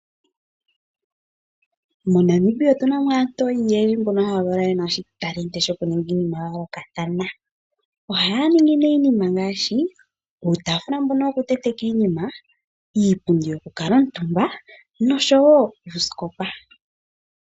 MoNamibia otu na mo aantu oyendji mboka haya valwa ye na oshitalenti shokuninga iinima ya yoolokathana. Ohaya ningi nee iinima ngaashi uutafula mbono wokutenteka iinima, iipundi yokukuutumba noshowo oosikopa.